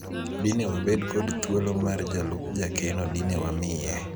dine wabed kod thuolo mar jalup jakeno dine wamiye